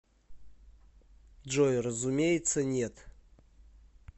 джой разумеется нет